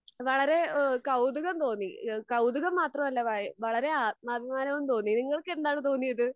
വളരേ കൗതുകം തോന്നി. കൗതുകം മാത്രമല്ല വളരേ ആത്മാഭിമാനവും തോന്നി. നിങ്ങൾക്കെന്താണ് തോന്നിയത്?